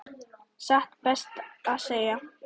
Satt best að segja.